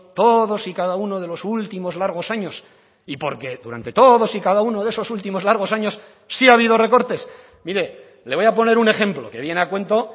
todos y cada uno de los últimos largos años y porque durante todos y cada uno de esos últimos largos años sí ha habido recortes mire le voy a poner un ejemplo que viene a cuento